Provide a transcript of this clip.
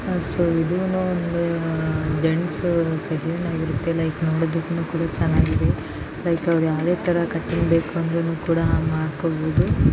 So ಇದು no ಒಂದು gents salon ಆಗಿರುತ್ತೆ ಲೈಕ್ ನೋಡೋದಕ್ಕೆ ಚೆನ್ನಾಗಿದೆ. ಲೈಕ್ ಅವರು ಯಾವುದೇ ತರ ಕಟಿಂಗ್ ಬೇಕು ಅಂದ್ರು ಕೂಡ ಮಾಡ್ಕೋಬಹುದು.